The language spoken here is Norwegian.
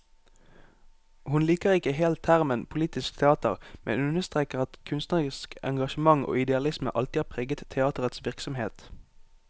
Hun liker ikke helt termen politisk teater, men understreker at kunstnerisk engasjement og idealisme alltid har preget teaterets virksomhet.